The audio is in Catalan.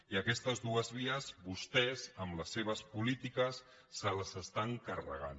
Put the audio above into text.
i aquestes dues vies vostès amb les seves polítiques se les estan carregant